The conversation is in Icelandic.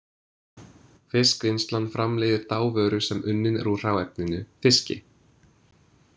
Fiskvinnslan framleiðir þá vöru sem unnin er úr hráefninu, fiski.